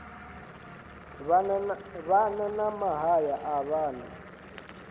vhana na mahaya a vhana